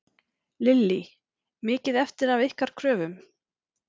Lillý: Mikið eftir af ykkar kröfum?